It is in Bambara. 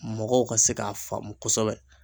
Mɔgɔw ka se k'a faamu kosɛbɛ